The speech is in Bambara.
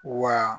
Wa